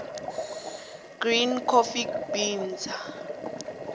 green coffee beans